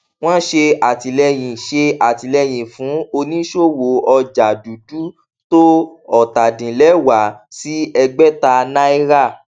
wọn ṣe àtìlẹyìn ṣe àtìlẹyìn fún oníṣòwò ọjà dúdú tó ọtadinlẹwá sí ẹgbẹta náírà